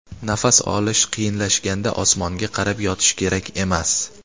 Nafas olish qiyinlashganda osmonga qarab yotish kerak emas.